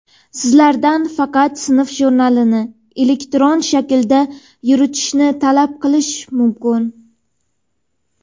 sizlardan faqat sinf jurnalini (elektron shaklda) yuritishni talab qilish mumkin.